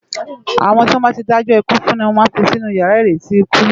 Awòn tiwòn bá ti dájò ikú fún lo má n fi sinú iyàrá iréti ikú